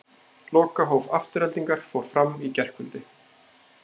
Lokahóf Aftureldingar fór fram í gærkvöldi.